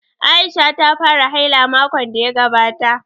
Aisha ta fara haila makon da ya gabata